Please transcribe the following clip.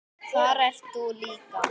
Þar ert þú líka.